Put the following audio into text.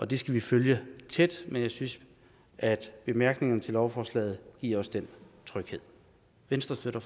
det skal vi følge tæt men jeg synes at bemærkningerne til lovforslaget giver os den tryghed venstre støtter